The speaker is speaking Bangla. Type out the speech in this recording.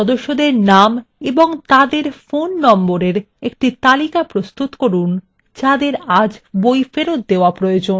3 সেইসব সদস্যদের names এবং তাদের phone নম্বরের একটি তালিকা প্রস্তুত করুন যাদের আজ বই ফেরত দেওয়া প্রয়োজন